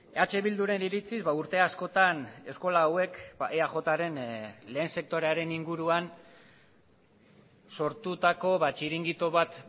eh bilduren iritziz urte askotan eskola hauek eajren lehen sektorearen inguruan sortutako txiringito bat